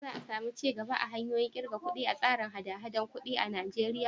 Shin za a samu ci gaba a hanyoyin ƙirga kuɗi a tsarin haɗa-haɗar kuɗi a Najeriya?